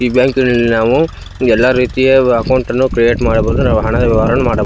ಈ ಬ್ಯಾಂಕಿನಲ್ಲಿ ನಾವು ಎಲ್ಲ ರೀತಿಯ ಅಕೌಂಟ್ ಅನ್ನು ಕ್ರಿಯೇಟ್ ಮಾಡಬಹುದು ನಾವು ಹಣವನ್ನು ಅರ್ನ್ ಮಾಡ --